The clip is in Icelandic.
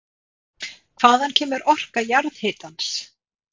Hvaðan kemur orka jarðhitans?